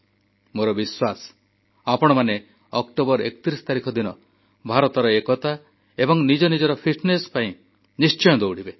ମୋର ବିଶ୍ୱାସ ଆପଣମାନେ ଅକ୍ଟୋବର 31 ତାରିଖ ଦିନ ଭାରତର ଏକତା ଏବଂ ନିଜ ନିଜର ଫିଟନେସ ପାଇଁ ନିଶ୍ଚୟ ଦୌଡ଼ିବେ